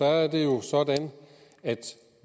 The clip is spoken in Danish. er det jo sådan at